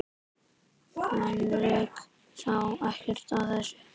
Henrik sá ekkert að þessu.